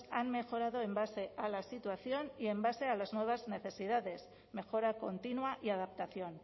han mejorado en base a la situación y en base a las nuevas necesidades mejora continua y adaptación